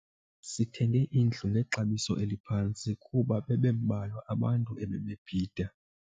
Sithenge indlu ngexabiso eliphantsi kuba bebembalwa abantu ebebebhida.